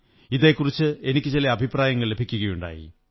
ഇതെക്കുറിച്ച് എനിക്കു ചില അഭിപ്രായങ്ങൾ ലഭിക്കയുണ്ടായി